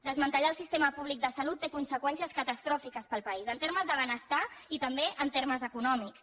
desmantellar el sistema públic de salut té conseqüències catastròfiques per al país en termes de benestar i també en termes econòmics